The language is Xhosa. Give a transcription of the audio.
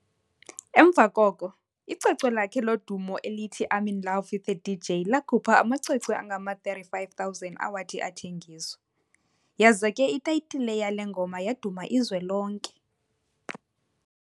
emva koko, icwecwe lakhe lodumo elithi "I'm in Love With a DJ", lakhupha amacwecwe angama-35,000 awathi athengiswa, yaza ke itayitile yale ngoma yaduma izwe lonke.